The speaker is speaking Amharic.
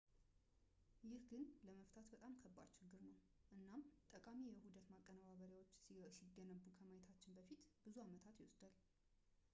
ይህ ግን ለመፍታት በጣም ከባድ ችግር ነው እናም ጠቃሚ የውህደት ማቀነባበሪያዎች ሲገነቡ ከማየታችን በፊት ብዙ ዓመታት ይወስዳል